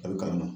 A bɛ kalan na